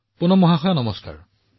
পুনমজী নমস্কাৰ